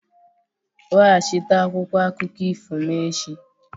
Weghachite akwụkwọ akụkọ ifo m echi!